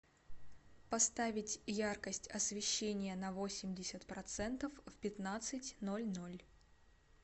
поставить яркость освещения на восемьдесят процентов в пятнадцать ноль ноль